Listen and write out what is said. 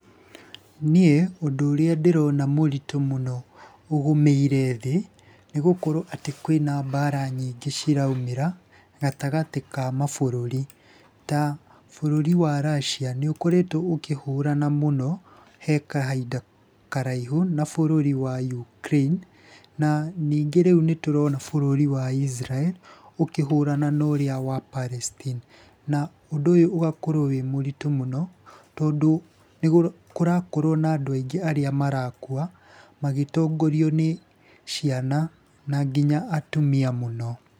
Niĩ ũndũ ũrĩa ndĩrona mũritũ mũno ũgũmĩire thĩ, nĩ gũkorwo atĩ kwĩna mbara nyingĩ ciraumĩra gatagatĩ ka mabũrũri. Ta bũrũri wa Russia nĩ ũkoretwo ũkĩhũrana mũno he kahinda karaihu na bũrũri wa Ukraine. Na ningĩ rĩu nĩ tũrona bũrũri wa Israel ũkĩhũrana na ũrĩa wa Palestine. Na ũndũ ũyũ ũgakorwo wĩ mũritũ mũno tondũ nĩ kũrakorwo na andũ aingĩ arĩa marakua, magĩtongorio nĩ ciana, na nginya atumia mũno.